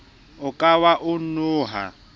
o ka wa e noha